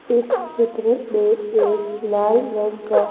इस चित्र में एक लाल रंग का--